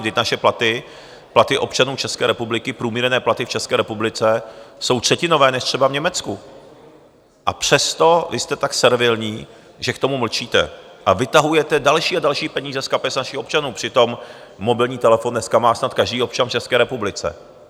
Vždyť naše platy, platy občanů České republiky, průměrné platy v České republice, jsou třetinové než třeba v Německu, a přesto vy jste tak servilní, že k tomu mlčíte a vytahujete další a další peníze z kapes našich občanů, přitom mobilní telefon dneska má snad každý občan v České republice.